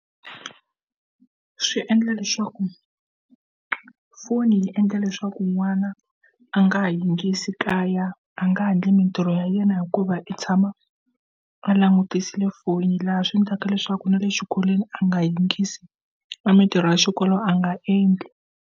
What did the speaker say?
Swi endla leswaku foni yi endla leswaku n'wana a nga ha yingiseli ekaya a nga handle mitirho ya yena hikuva i tshama a langutisile foni laha swiendlaka leswaku na le xikolweni a nga yingisi mitirho ya xikolo a nga endli.